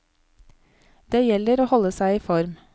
Det gjelder å holde seg i form.